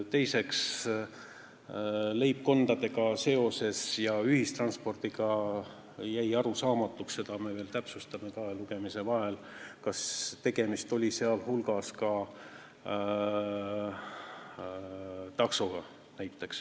Teiseks, leibkondade ja ühistranspordiga seoses jäi arusaamatuks – seda me veel täpsustame kahe lugemise vahel –, kas tegemist oli ka taksodega.